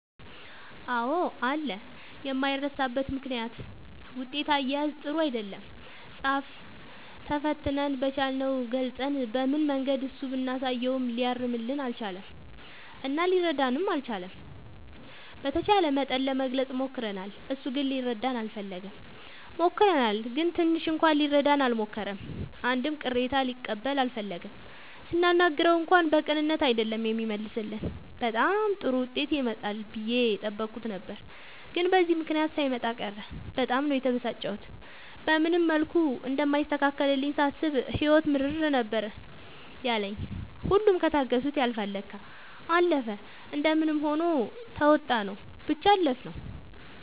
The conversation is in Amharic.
አዎ አለ የማይረሳበት ምክንያት ውጤት አያያዝ ጥሩ አይደለም ፃፍ ተፈትነን በቻልነው ገልፀን በምንም መንገድ እሱ ብናሳየውም ሊያርምልን አልቻለም እና ሊረዳንም አልቻለም። በተቻለ መጠን ለመግለፅ ሞክርናል እሱ ግን ሊረዳን አልፈለገም። ሞክረናል ግን ትንሽ እንኳን ሊረዳን አልሞከረም አንድም ቅሬታ ሊቀበል አልፈለገም ስናናግረው እንኳን በቅንነት አይደለም የሚመልስልን በጣም ጥሩ ዉጤት ይመጣል ብዬ የጠበኩት ነበር ግን በዚህ ምክንያት ሳይመጣ ቀረ በጣም ነው የተበሳጨሁት። በምንም መልኩ እንደማይስተካከልልኝ ሳስብ ህይወት ምርር ነበር ያለኝ ሁሉም ከታገሱት ያልፍል ለካ። አለፈ እንደምንም ሆኖ ተዉጣንው ብቻ አለፍነው።